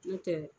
N'o tɛ